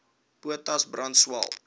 potas brand swael